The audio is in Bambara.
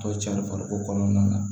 To cari farikolo kɔnɔna na